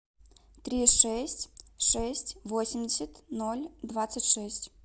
три шесть шесть восемьдесят ноль двадцать шесть